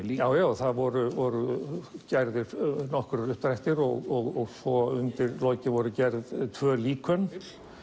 já já það voru voru gerðir nokkrir uppdrættir og svo undir lokin voru gerð tvö líkön